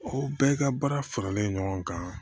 O bɛɛ ka baara faralen ɲɔgɔn kan